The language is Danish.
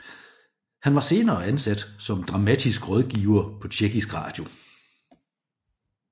Han var senere ansat som dramatisk rådgiver på Tjekkisk Radio